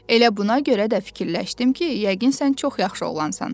Elə buna görə də fikirləşdim ki, yəqin sən çox yaxşı oğlansan.